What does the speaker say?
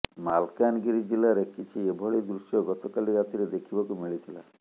ମାଲକାନଗିରି ଜିଲ୍ଲାରେ କିଛି ଏଭଳି ଦୃଶ୍ୟ ଗତକାଲି ରାତିରେ ଦେଖିବାକୁ ମିଳିଥିଲା